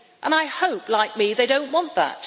I hope, like me, they do not want that.